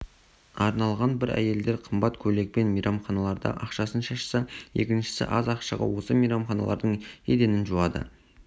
арналған бір әйелдер қымбат көйлекпен мейрамханаларда ақшасын шашса екіншісі аз ақшаға осы мейрамханалардың еденін жуады